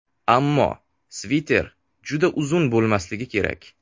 Ammo sviter juda uzun bo‘lmasligi kerak.